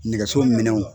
Nɛgɛso minɛnw